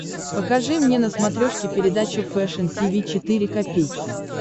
покажи мне на смотрешке передачу фэшн ти ви четыре ка